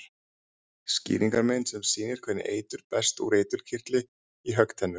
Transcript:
Skýringarmynd sem sýnir hvernig eitur berst úr eiturkirtli í höggtennur.